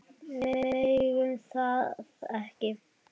Við megum það ekki.